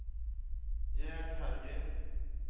Gerd Hellgren